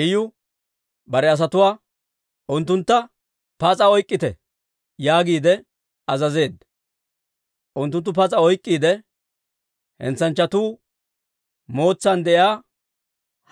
Iyu bare asatuwaa, «Unttuntta pas'a oyk'k'ite» yaagiide azazeedda. Unttunttu pas'a oyk'k'iide, Hentsanchchatuu Mootsan de'iyaa